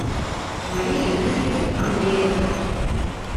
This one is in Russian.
марии юрьевне андреевой